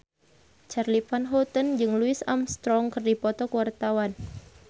Charly Van Houten jeung Louis Armstrong keur dipoto ku wartawan